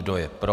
Kdo je pro?